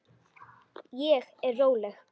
Ég er róleg.